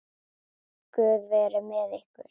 Guð veri með ykkur.